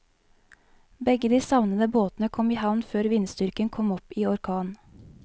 Begge de savnede båtene kom i havn før vindstyrken kom opp i orkan.